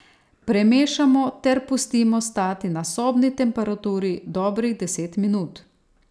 Premešamo ter pustimo stati na sobni temperaturi dobrih deset minut.